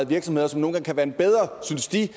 virksomheder som nogle gange synes de